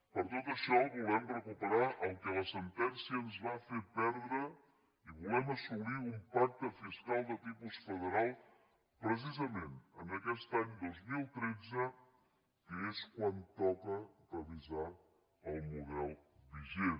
per tot això volem recuperar el que la sentència ens va fer perdre i volem assolir un pacte fiscal de tipus federal precisament en aquest any dos mil tretze que és quan toca revisar el model vigent